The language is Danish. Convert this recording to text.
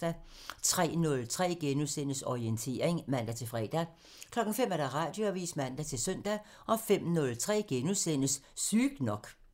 03:03: Orientering *(man-fre) 05:00: Radioavisen (man-søn) 05:03: Sygt nok *(man)